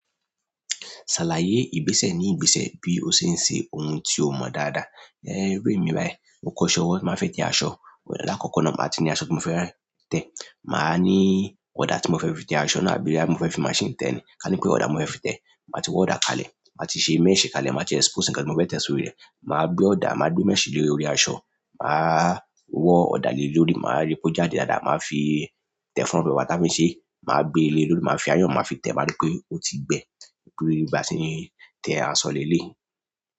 Ṣàlàyé ìgbésẹ̀ ní ìgbésẹ̀ bí o ṣe ń ṣe ohun tí o mọ dáadáa. Ẹ, iru emi bayi, mo kọ́ṣẹ́ owó ti n ba fẹ́ tẹ aṣọ, lakoko náà màá ti ní aṣọ tí mo fẹ́ tẹ. Màá ní ọ̀dà tí mo fẹ fi tẹ aṣọ náà bí i mo fẹ́ fi machine tẹ ni. Ka ní pé ọ̀dà mo fẹ́ fi tẹ, màá ti wọ ọ̀dà kalẹ̀, màá ti ṣe mẹ́ẹ̀sẹ́ kalẹ̀, màá ti expose nǹkan tí mo fẹ́ tẹ sórí rẹ̀. Màá gbé ọ̀dà, màá gbé mẹ́ẹ̀sẹ́ lórí orí aṣọ, màá wọ ọ̀dà lórí, màá rí pé ó jáde dáadáa, màá fi tẹ funfun pẹ̀lú àwọn táfìǹsì, màá gbé e lórí, màá fi ayàn máa fi tẹ, màá rí pé ó ti gbẹ, kí n tó bá ṣìní tẹ aṣọ lé lé.